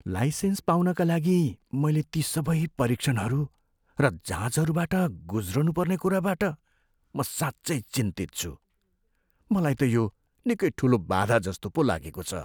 Licence पाउनका लागि मैले ती सबै परीक्षणहरू र जाँचहरूबाट गुज्रनुपर्ने कुराबाट म साँच्चै चिन्तित छु। मलाई त यो निकै ठुलो बाधाजस्तो पो लागेको छ।